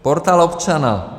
Portál občana.